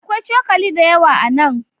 Akwai cokali da yawa a nan.